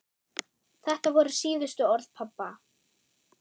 Þetta voru síðustu orð pabba.